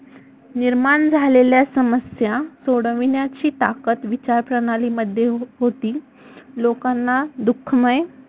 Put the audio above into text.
निर्माण झालेेल्या समस्या सोडविण्याची ताकद विचारप्रणालीमध्ये होती लोकांना दुःखमय